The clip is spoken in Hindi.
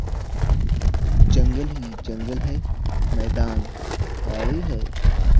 जंगल ही जंगल है मैदान खाली है।